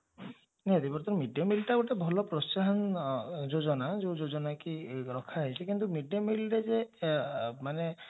mid day meal ଟା ଗୋଟେ ଭଲ ପ୍ରୋତ୍ସାହନ ଯୋଜନା ଯୋଉ ଯୋଜନା କି ରୋଖାହେଇଛି କିନ୍ତୁ mid day meal ରେ ଯେ ମାନେ